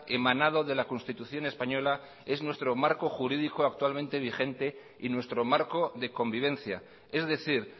emanado de la constitución española es nuestro marco jurídica actualmente vigente y nuestro marco de convivencia es decir